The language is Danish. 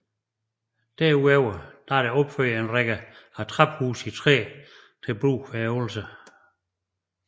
Derudover er der opført en række attraphuse i træ til brug ved øvelser